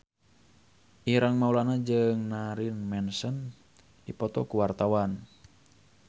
Ireng Maulana jeung Marilyn Manson keur dipoto ku wartawan